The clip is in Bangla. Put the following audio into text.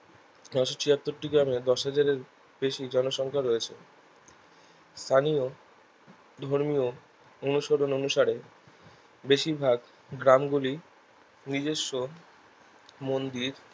নসো ছিয়াত্তরটি গ্রামে দশ হাজার এর বেশি জনসংখ্যা রয়েছে স্থানীয় ধর্মীয় অনুসরণ অনুসারে বেশিরভাগ গ্রাম গুলি নিজস্য মন্দির